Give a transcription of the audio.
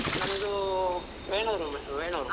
ನಮ್ದೂ ವೇಣೂರು, ಮ್ಯಾ ವೇಣೂರು.